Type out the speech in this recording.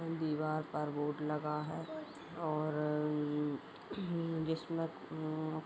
दीवार पर बोर्ड लगा है। और उउ उम जिसमे उम --